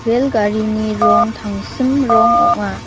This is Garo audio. rel garini rong tangsim rong ong·a.